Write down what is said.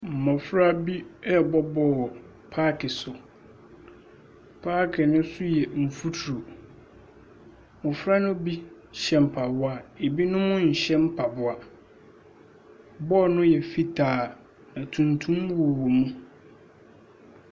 Mmɔfra bi ɛrebɔ bɔɔl paake so. Paake yi ne so yɛ mfutuo. Mmɔfra ne bi hyɛ mpaboa, binom nhyɛ mpaboa. Bɔɔl no yɛ fitaa, ntuntum wowɔ mu.